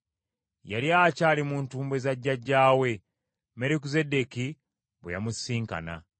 Yali akyali mu ntumbwe za jjajjaawe, Merukizeddeeki bwe yamusisinkana.